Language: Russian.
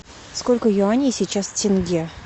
сколько юаней сейчас тенге